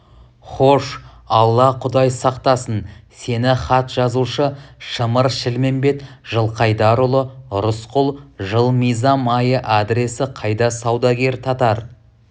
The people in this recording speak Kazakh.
хош алла-құдай сақтасын сені хат жазушы шымыр-шілмембет жылқайдарұлы рысқұл жыл мизам айы адресі қайда саудагер татар